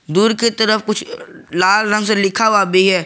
दूर की तरफ कुछ लाल रंग से लिखा हुआ भी है।